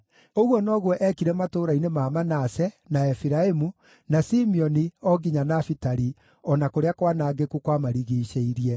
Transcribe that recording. Ũguo noguo eekire matũũra-inĩ ma Manase, na Efiraimu, na Simeoni o nginya Nafitali, o na kũrĩa kwanangĩku kwamarigiicĩirie,